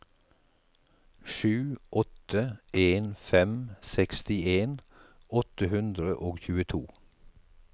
sju åtte en fem sekstien åtte hundre og tjueto